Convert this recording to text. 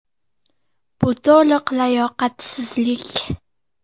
Bu to‘liq layoqatsizlik.